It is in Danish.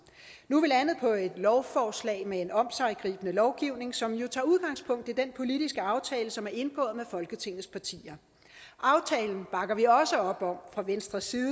nu er vi landet på et lovforslag med en omsiggribende lovgivning som jo tager udgangspunkt i den politiske aftale som er indgået med folketingets partier aftalen bakker vi også op om fra venstres side